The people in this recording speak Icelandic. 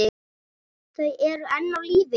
Þau eru enn á lífi.